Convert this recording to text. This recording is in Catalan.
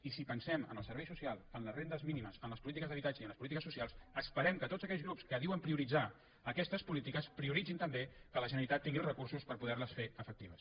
i si pensem en el servei social en les rendes mínimes en les polítiques d’habitatge i en les polítiques socials esperem que tots aquells grups que diuen prioritzar aquestes polítiques prioritzin també que la generalitat tinguin els recursos per poder les fer efectives